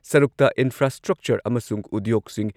ꯁꯔꯨꯛꯇ ꯏꯟꯐ꯭ꯔꯥꯁ꯭ꯇ꯭ꯔꯛꯆꯔ ꯑꯃꯁꯨꯡ ꯎꯗ꯭ꯌꯣꯒꯁꯤꯡ